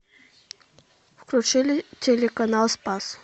включи телеканал спас